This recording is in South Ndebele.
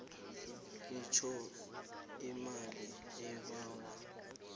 itjho imali obawa